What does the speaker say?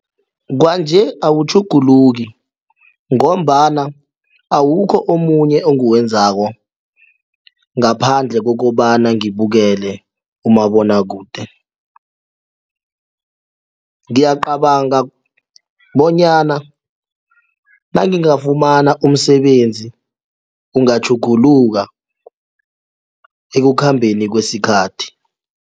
Kwanje awutjhuguluki ngombana awukho omunye engiwenzako ngaphandle kokobana ngibukele umabonwakude. Ngiyacabanga bonyana nangingafumana umsebenzi kungatjhuguluka ekukhambeni kwesikhathi.